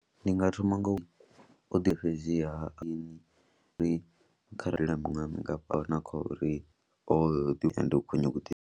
Ndi nga thoma nga u fhedziha in kharali na miṅwaha mingafhani kha uri o ḓi ende u khou nyaga u ḓi.